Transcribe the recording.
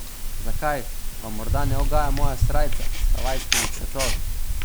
Zakaj, vam morda ne ugaja moja srajca s havajskimi cvetovi?